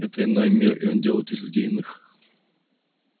это иной мир и он делает из людей иных